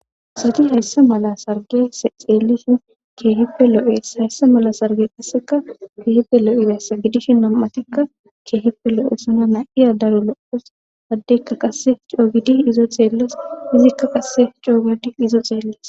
Sadi hayssa mala sarge xeellishin keehipe loo'ees hayssa mala sarge qasseka keehipe lo'ibessa bidishi na'atikka keehipe lo'e sona na'iya daro loos haddekka qasse coogidi izo xeelles izikka qasse coogedi izo xeelles